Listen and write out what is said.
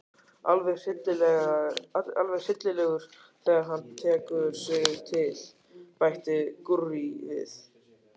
Alveg hryllilegur þegar hann tekur sig til, bætti Gurrý við.